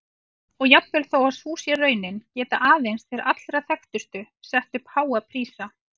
Og jafnvel þó sú sé raunin geta aðeins þeir allra þekktustu sett upp háa prísa.